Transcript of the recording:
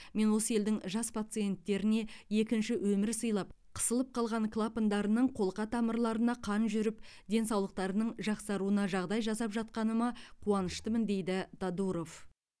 мен осы елдің жас пациенттеріне екінші өмір сыйлап қысылып қалған клапандарының қолқа тамырларына қан жүріп денсаулықтарының жақсаруына жағдай жасап жатқаныма қуаныштымын дейді тодуров